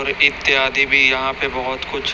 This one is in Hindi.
और इत्यादि भी यहां पे बहुत कुछ--